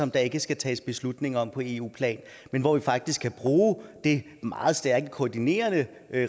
der ikke skal tages beslutninger på eu plan men hvor vi faktisk kan bruge det meget stærke koordinerende